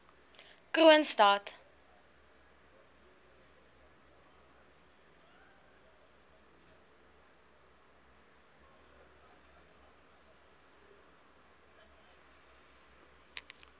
kroonstad